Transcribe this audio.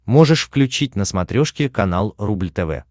можешь включить на смотрешке канал рубль тв